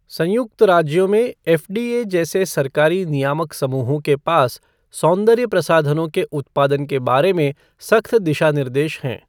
संयुक्त राज्यों में एफ़ डी ए जैसे सरकारी नियामक समूहों के पास सौंदर्य प्रसाधनों के उत्पादन के बारे में सख्त दिशानिर्देश हैं।